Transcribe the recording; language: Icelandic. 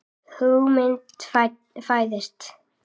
Hugmynd fæðist.